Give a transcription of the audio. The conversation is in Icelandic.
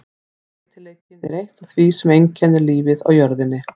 Breytileikinn er eitt af því sem einkennir lífið á jörðinni.